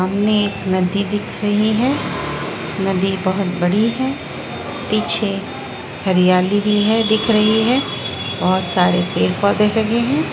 सामने एक नदी दिख रही है नदी बोहोत बड़ी है पीछे हरियाली भी है दिख रही है और सारे पेड़-पौधे लगे हैं।